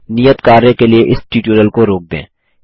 नियत कार्य के लिए इस ट्यूटोरियल को रोक दें